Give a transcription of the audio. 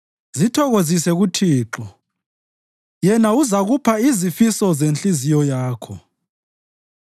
Zithokozise kuThixo Yena uzakupha izifiso zenhliziyo yakho.